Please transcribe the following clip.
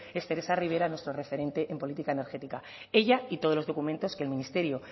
es teresa rivera nuestro referente en política energética ella y todos los documentos que el ministerio